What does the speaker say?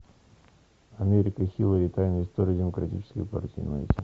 америка хиллари тайная история демократической партии найти